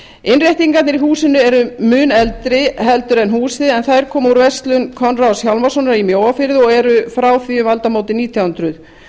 innréttingarnar í húsinu eru mun eldri heldur en húsið en þær komu úr verslun konráðs hjálmarssonar í mjóafirði og eru frá því um aldamótin nítján hundruð